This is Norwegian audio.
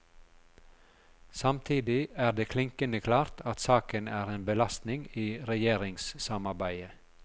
Samtidig er det klinkende klart at saken er en belastning i regjeringssamarbeidet.